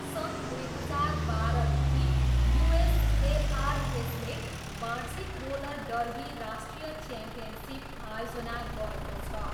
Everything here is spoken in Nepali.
सन् दुई हजार बाह्रदेखि, युएसएआरएसले वार्षिक रोलर डर्बी राष्ट्रिय च्याम्पियनसिप आयोजना गरेको छ।